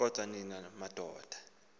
kodwa nina madoda